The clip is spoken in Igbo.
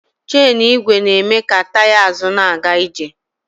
Chenụ igwe na-eme ka taya azụ na-aga ije.